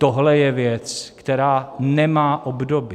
Tohle je věc, která nemá obdoby.